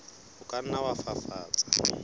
o ka nna wa fafatsa